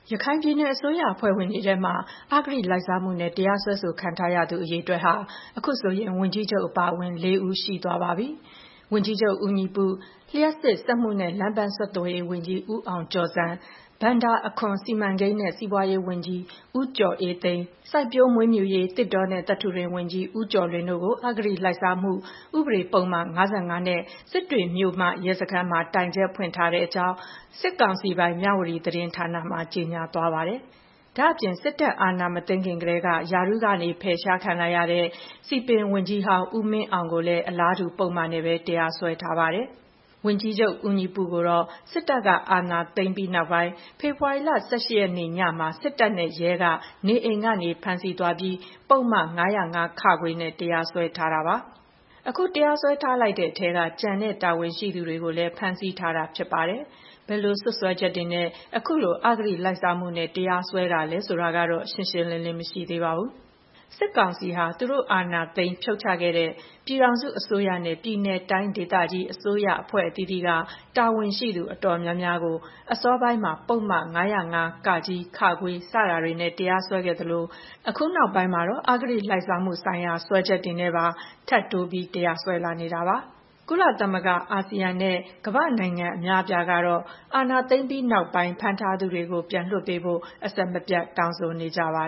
ရခိုင်ပြည်နယ် အစိုးရအဖွဲ့ဝင်တွေထဲမှာ အဂတိလိုက်စားမှုနဲ့ တရားစွဲခံထားရသူအရေအတွက်ဟာ အခုဆိုရင် ဝန်ကြီးချုပ်အပါအဝင် ၄ ဦးရှိသွားပြီဖြစ်ပါတယ်။ ဝန်ကြီးချုပ်ဦးညီပု၊ လျှပ်စစ်၊ စက်မှုနဲ့ လမ်းပန်းဆက်သွယ်ရေးဝန်ကြီး ဦးအောင်ကျော်ဇံ၊ ဘဏ္ဍာအခွန်၊ စီမံကိန်းနဲ့ စီးပွားရေးဝန်ကြီး ဦးကျော်အေးသိန်း၊ စိုက်ပျိုးမွေးမြူရေး သစ်တောနဲ့ သတ္တုတွင်းဝန်ကြီး ဦးကျော်လွင်တို့ကို အဂတိလိုက်စားမှု ဥပဒေပုဒ်မ ၅၅ နဲ့ စစ်တွေမြို့မ ရဲစခန်းမှာ တိုင်ချက်ဖွင့်ထားတဲ့အကြောင်း စစ်ကောင်စီပိုင် မြဝတီသတင်းဌာနမှာ ကြေညာသွားတာပါ။ ဒါ့အပြင် စစ်တပ် အာဏာမသိမ်းခင်ကတည်းက ရာထူးကနေ ဖယ်ခံလိုက်ရတဲ့ စည်ပင်ဝန်ကြီးဟောင်း ဦးမင်းအောင်ကိုလည်း အလားတူပုဒ်မနဲ့ပဲ တရားစွဲထားပါတယ်။ ဝန်ကြီးချုပ် ဦးညီပုကိုတော့ စစ်တပ်က အာဏာသိမ်းပြီးနောက်ပိုင်း ဖေဖော်ဝါရီလ ၁၈ ရက်နေ့ ညမှာ စစ်တပ်နဲ့ ရဲက နေအိမ်ကနေ ဖမ်းဆီးသွားပြီး ပုဒ်မ- ၅၀၅ (ခ) နဲ့ တရားစွဲထားတာပါ။ အခုတရားစွဲလိုက်တဲ့ထဲက ကျန်တဲ့တာဝန်ရှိသူတွေကိုလည်း ဖမ်းဆီးထားတာဖြစ်ပါတယ်။ ဘယ်လိုစွပ်စွဲချက်တွေနဲ့ အခုလို အဂတိလိုက်စားမှုနဲ့ တရားစွဲတာလည်း ဆိုတာကတော့ ရှင်းရှင်းလင်းလင်း မရှိသေးပါဘူး။ စစ်ကောင်စီဟာ သူတို့ အာဏာသိမ်းဖြုတ်ချခဲ့တဲ့ ပြည်ထောင်စုအစိုးရနဲ့ ပြည်နယ် တိုင်းဒေသကြီး အစိုးရအဖွဲ့အသီးသီးက တာဝန်ရှိသူ အတော်များများကို အစောပိုင်းမှာ ပုဒ်မ ၅၀၅ (က) (ခ) စတာတွေနဲ့ တရားစွဲခဲ့သလို အခုနောက်ပိုင်းမှာတော့ အဂတိလိုက်စားမှုဆိုင်ရာ စွဲချက်တွေနဲ့ပါ ထပ်တိုး တရားစွဲလာနေတာပါ။ ကုလသမဂ္ဂ၊ အာဆီယံနဲ့ ကမ္ဘာ့နိုင်ငံအများအပြားကတော့ အာဏာသိမ်းပြီးနောက်ပိုင်း ဖမ်းဆီးထားသူတွေကို ပြန်လွှတ်ပေးဖို့ အဆက်မပြတ် တောင်းဆိုနေကြပါ